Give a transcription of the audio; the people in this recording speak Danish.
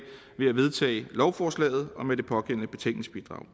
ved at vedtage lovforslaget og med det pågældende betænkningsbidrag